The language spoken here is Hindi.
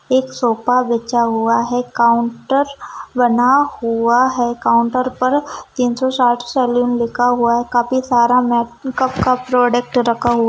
एक सोफा बिछा हुआ है काउंटर बना हुआ है काउंटर पर तीन सौ साठ सैलून लिखा हुआ है काफी सारा मेकअप का प्रोडक्ट रखा हुआ --